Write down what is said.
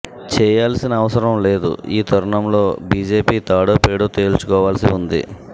చేయాల్సిన అవసరం లేదు ఈ తరుణంలో బిజెపి తాడోపేడో తేల్చుకోవాల్సి ఉంది